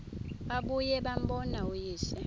babuye bambone uyise